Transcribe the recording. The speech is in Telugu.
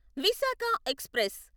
విశాఖ ఎక్స్ప్రెస్